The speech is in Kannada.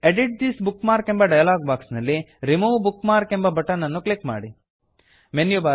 ಎಡಿಟ್ ದಿಸ್ ಬುಕ್ ಮಾರ್ಕ್ ಎಂಬ ಡಯಲಾಗ್ ಬಾಕ್ಸ್ ನಲ್ಲಿ remove bookmark remove bookmark ಎಂಬ ಬಟನ್ ನನ್ನು ಕ್ಲಿಕ್ ಮಾಡಿ